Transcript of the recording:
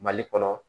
Mali kɔnɔ